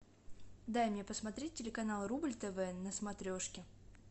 дай мне посмотреть телеканал рубль тв на смотрешке